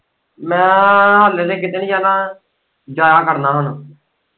ਮੈਂ ਹਲੇ ਤੇ ਕਿਤੇ ਨੀ ਜਾਣਾ ਜਾਇਆ ਕਰਨਾ ਹੁਣ।